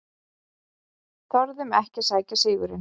Þorðum ekki að sækja sigurinn